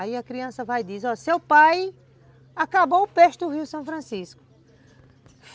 Aí a criança vai e diz, ó, seu pai acabou o peixe do Rio São Francisco.